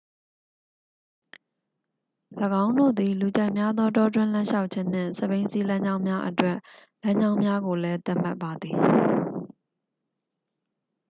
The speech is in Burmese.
၎င်းတို့သည် လူကြိုက်များသော တောတွင်းလမ်းလျှောက်ခြင်းနှင့် စက်ဘီးစီးလမ်းကြောင်းများအတွက် လမ်းကြောင်းများကိုလည်း သတ်မှတ်ပါသည်